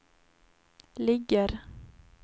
ligger